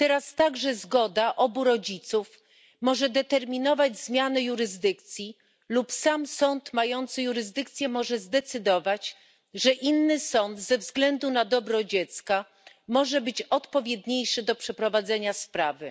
Teraz także zgoda obu rodziców może determinować zmiany jurysdykcji lub sam sąd mający jurysdykcję może zdecydować, że inny sąd ze względu na dobro dziecka może być odpowiedniejszy do przeprowadzenia sprawy.